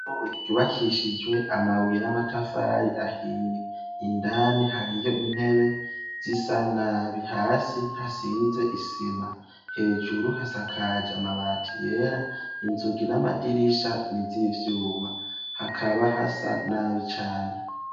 Ishure ryubakishijwe amabuye n'amatafari ahiye, indani hariyo intebe zisa nabi, hasi hasize isima hejuru hasakaje amabati yera, inzugi n'amadirisha n'izivyuma, hakaba hasa nabi cane.